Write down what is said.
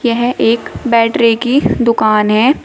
यह एक बैटरी की दुकान है।